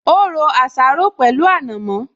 Ó ro àsáró pẹ̀lú ànàmọ́